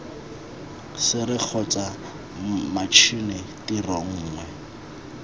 sere kgotsa matšhini tiro nngwe